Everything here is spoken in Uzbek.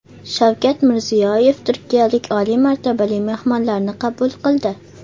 Shavkat Mirziyoyev turkiyalik oliy martabali mehmonlarni qabul qildi.